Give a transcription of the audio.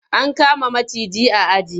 An kama maciji a aji.